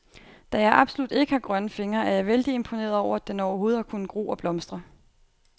Da jeg absolut ikke har grønne fingre, er jeg vældig imponeret over, at den overhovedet har kunnet gro og blomstre.